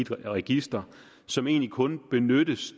et register som egentlig kun benyttes